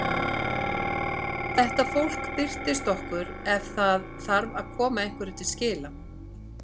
Þetta fólk birtist okkur ef það þarf að koma einhverju til skila.